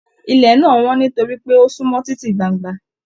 Ilẹ̀ náà wọn nitori pé o sunmọ titi gbángba.